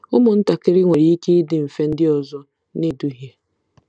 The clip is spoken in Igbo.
Ụmụntakịrị nwere ike ịdị mfe ndị ọzọ na-eduhie.